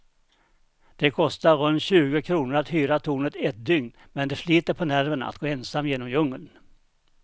Det kostar runt tjugo kronor att hyra tornet ett dygn, men det sliter på nerverna att gå ensam genom djungeln.